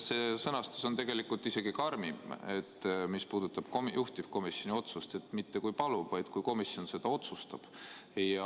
See sõnastus, mis puudutab juhtivkomisjoni otsust, on tegelikult isegi karmim – mitte "kui palub", vaid "kui komisjon nii otsustab".